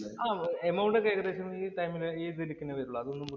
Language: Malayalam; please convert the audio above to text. ആഹ് amount ഒക്കെ ഏകദേശം ഈ ടൈമില്